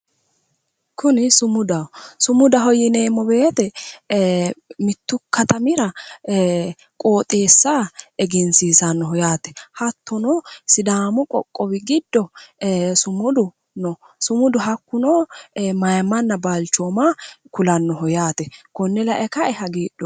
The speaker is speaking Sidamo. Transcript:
kuni sumudaho sumudaho yineemmo woyte mittu katamira qoxeessa egensiisannoho yaate hattono sidaamu qoqowi giddo sumudu no sumudu hakkuno mayimmanna balchooma kulannoho yaate konne lae kae hagiidhoomma.